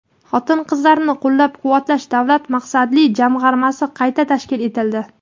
Xotin-qizlarni qo‘llab-quvvatlash davlat maqsadli jamg‘armasi qayta tashkil etildi.